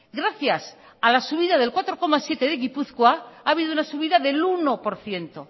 gracias a la subida del cuatro coma siete de gipuzkoa ha habido una subida del uno por ciento